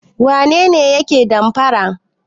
Wane ne yake damfara?